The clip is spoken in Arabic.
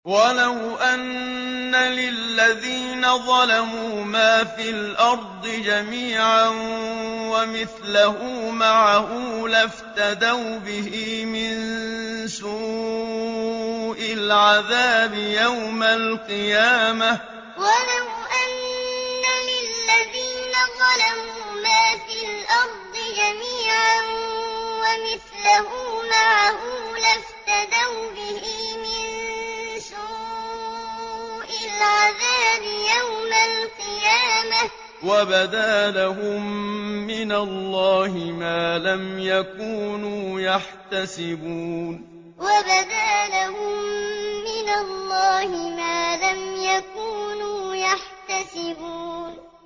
وَلَوْ أَنَّ لِلَّذِينَ ظَلَمُوا مَا فِي الْأَرْضِ جَمِيعًا وَمِثْلَهُ مَعَهُ لَافْتَدَوْا بِهِ مِن سُوءِ الْعَذَابِ يَوْمَ الْقِيَامَةِ ۚ وَبَدَا لَهُم مِّنَ اللَّهِ مَا لَمْ يَكُونُوا يَحْتَسِبُونَ وَلَوْ أَنَّ لِلَّذِينَ ظَلَمُوا مَا فِي الْأَرْضِ جَمِيعًا وَمِثْلَهُ مَعَهُ لَافْتَدَوْا بِهِ مِن سُوءِ الْعَذَابِ يَوْمَ الْقِيَامَةِ ۚ وَبَدَا لَهُم مِّنَ اللَّهِ مَا لَمْ يَكُونُوا يَحْتَسِبُونَ